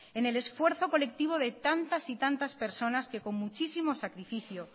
en el esfuerzo colectivo de tantas y tantas personas que con muchísimo sacrificio